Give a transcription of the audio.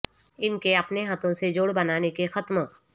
ان کے اپنے ہاتھوں سے جوڑ بنانے کے ختم